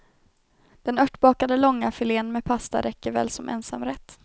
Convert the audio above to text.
Den örtbakade långafilén med pasta räcker väl som ensamrätt.